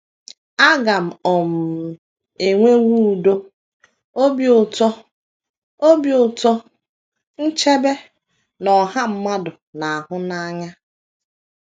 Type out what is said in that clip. A ga um - enwewo udo, obi ụtọ, obi ụtọ, nchebe, na ọha mmadụ na - ahụ n’anya.